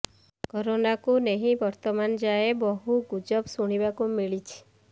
କରୋନାକୁ ନେଇ ବର୍ତ୍ତମାନ ଯାଏଁ ବହୁ ଗୁଜବ ଶୁଣିବାକୁ ମିଳିଛି